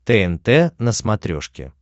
тнт на смотрешке